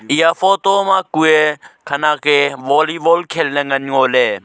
eya photo ma kue khanak e volleyball khel ne ngan ngo ley.